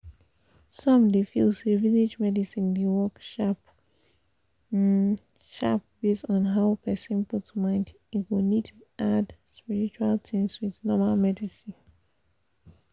some dey feel say village medicine dey work sharp um sharp based on how person put mind e go need add spiritual things with normal medicine